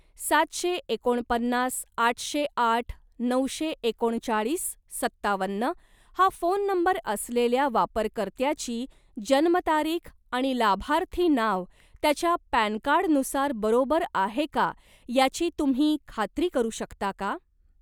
सातशे एकोणपन्नास आठशे आठ नऊशे एकोणचाळीस सत्तावन्न हा फोन नंबर असलेल्या वापरकर्त्याची जन्मतारीख आणि लाभार्थी नाव त्याच्या पॅन कार्ड नुसार बरोबर आहे का याची तुम्ही खात्री करू शकता का?